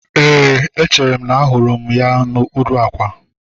Éè, echere m na mụ hụrụ ya n'okpuru àkwà